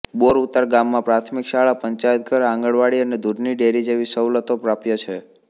બોરઉતાર ગામમાં પ્રાથમિક શાળા પંચાયતઘર આંગણવાડી અને દૂધની ડેરી જેવી સવલતો પ્રાપ્ય છે